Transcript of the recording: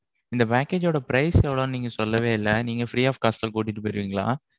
இந்த package ஓட price எவ்வளவுன்னு நீங்க சொல்லவே இல்லை. நீங்க free of cost ல கூட்டிட்டு போயிருவீங்களா?